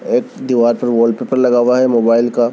एक दीवाल पर वोलपेपर लगा हुआ है मोबाइल का--